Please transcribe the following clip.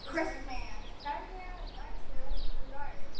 Kristmann, hvernig er dagskráin í dag?